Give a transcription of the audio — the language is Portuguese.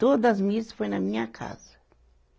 Todas missa foi na minha casa.